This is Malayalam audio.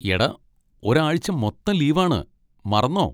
എടാ, ഒരു ആഴ്ച്ച മൊത്തം ലീവ് ആണ്, മറന്നോ?